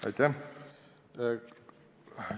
Aitäh!